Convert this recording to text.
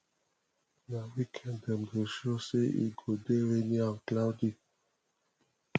na weekend dem dey show say e go dey rainy and cloudy